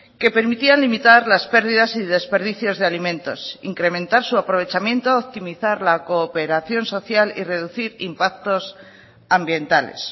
que permitían limitar las pérdidas y desperdicios de alimentos incrementar su aprovechamiento optimizar la cooperación social y reducir impactos ambientales